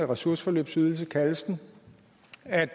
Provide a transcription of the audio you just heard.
ressourceforløbsydelsen kaldes den